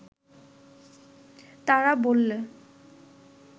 তারা বললে